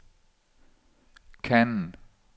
Cannes